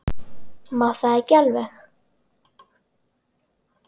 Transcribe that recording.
Má það ekki alveg?